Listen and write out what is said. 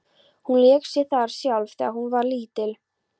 Hún lék sér þar sjálf þegar hún var lítil.